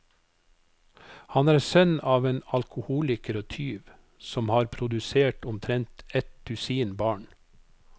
Han er sønn av en alkoholiker og tyv, som har produsert omtrent et dusin barn.